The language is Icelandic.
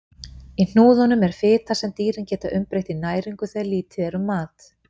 Í hnúðunum er fita sem dýrin geta umbreytt í næringu þegar lítið er um mat.